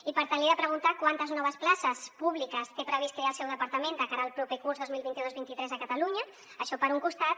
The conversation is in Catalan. i per tant li he de preguntar quantes noves places públiques té previst crear el seu departament de cara al proper curs dos mil vint dos vint tres a catalunya això per un costat